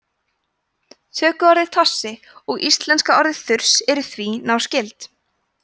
tökuorðið tossi og íslenska orðið þurs eru því náskyld